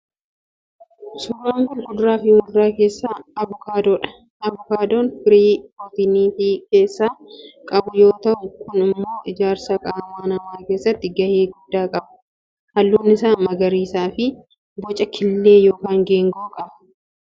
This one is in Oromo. Suuraan kun kuduraa fi muduraa keessaa avokaadoodha. Avokaadoon firii pirootinii of keessaa qabu yoo tahu kun immoo ijaarsa qaamaa nama keessatti gahee guddaa qaba. Halluun isaa magariisaa fi boca killee ykn geengoo qaba